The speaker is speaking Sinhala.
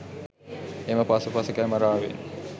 එම පසුපස කැමරාවෙන්